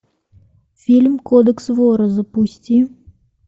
фильм кодекс вора запусти